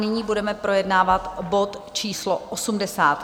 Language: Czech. Nyní budeme projednávat bod číslo